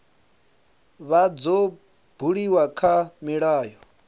vha dzo buliwa kha milayo